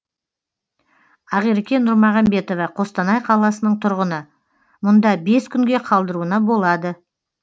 ақерке нұрмағамбетова қостанай қаласының тұрғыны мұнда бес күнге қалдыруына болады